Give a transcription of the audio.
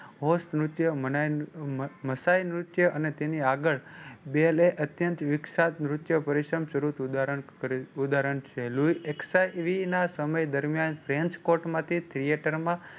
સમય દર્મિયાન